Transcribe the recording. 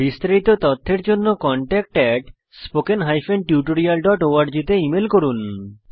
বিস্তারিত তথ্যের জন্য contactspoken tutorialorg তে ইমেল করুন